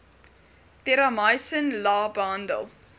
terramycin la behandel